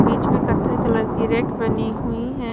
बीच में कथई कलर की रैक बनी हुई है।